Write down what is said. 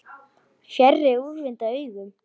Fjarri úrvinda augum.